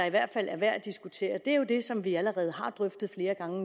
i hvert fald er værd at diskutere er jo det som vi allerede har drøftet flere gange